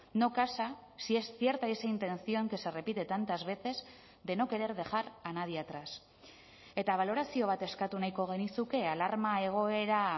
no casa si es cierta esa intención que se repite tantas veces de no querer dejar a nadie atrás eta balorazio bat eskatu nahiko genizuke alarma egoera